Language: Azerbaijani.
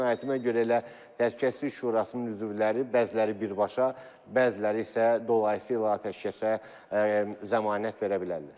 Qənaətimə görə elə Təhlükəsizlik Şurasının üzvləri, bəziləri birbaşa, bəziləri isə dolayı yolla atəşkəsə zəmanət verə bilərlər.